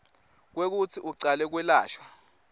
kwekutsi ucale kwelashwa